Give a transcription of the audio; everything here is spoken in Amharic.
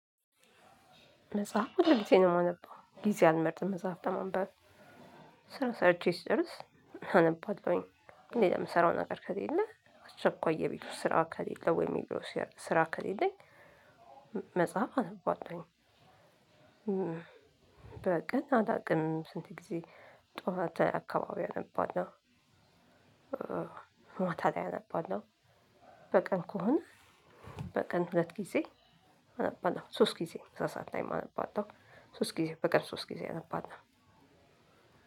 መጽሐፍ ሁል ግዜ ነው የማነበው ጊዜ አልመርጥም መጽሐፍ ለማንበብ። ስራ ሰርቼ ስጨርስ አነባለሁኝ ሌላ የምሰራው ነገር ከሌለ አስቸኳይ የቤቱ ስራ ከሌለ ወይ የቢሮ ስራ ከሌለኝ። መጽሐፍ አነባለሁኝ። በቀን አላቅም ስንት ጊዜ? ጥዋት አካባቢ አነባለሁ። ማታ ላይ አነባለሁ። በቀን ከሆነ በቀን ሁለት ጊዜ አነባለሁ ሶስት ጊዜ ምሳ ሰዓት ላይም አነባለሁ። ሶስት ጊዜ በቀን ሶስት ጊዜ አነባለሁ።